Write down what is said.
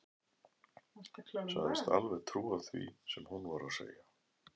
Sagðist alveg trúa því sem hún var að segja.